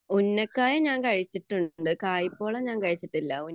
ഉന്നക്കായ ഞാൻ കഴിച്ചിട്ടുണ്ട് കായപൊള ഞാൻ കഴിച്ചിട്ടില്ല